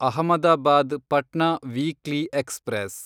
Ahmedabad Patna weekly express